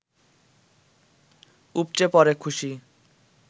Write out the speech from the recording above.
উপচে পড়ে খুশি